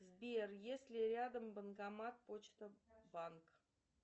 сбер есть ли рядом банкомат почта банк